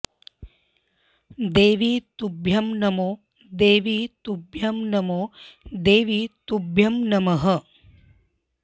देवि तुभ्यं नमो देवि तुभ्यं नमो देवि तुभ्यं नमः